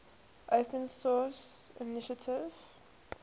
open source initiative